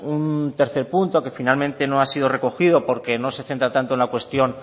un tercer punto que finalmente no ha sido recogido porque no se centra tanto en la cuestión